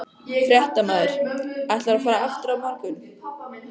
Fréttamaður: Ætlarðu að fara aftur á morgun?